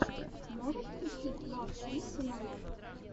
можешь включить ласт вик тунайт